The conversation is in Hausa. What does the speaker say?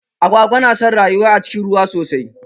Agwagwa na son rayuwa a cikin ruwa sosai.